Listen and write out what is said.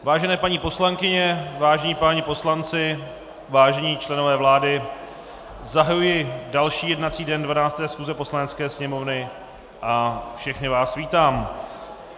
Vážené paní poslankyně, vážení páni poslanci, vážení členové vlády, zahajuji další jednací den 12. schůze Poslanecké sněmovny a všechny vás vítám.